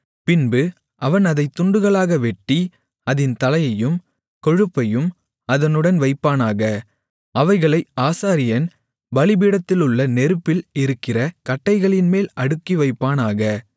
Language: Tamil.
பின்பு அவன் அதைத் துண்டுகளாக வெட்டி அதின் தலையையும் கொழுப்பையும் அதனுடன் வைப்பானாக அவைகளை ஆசாரியன் பலிபீடத்திலுள்ள நெருப்பில் இருக்கிற கட்டைகளின்மேல் அடுக்கிவைப்பானாக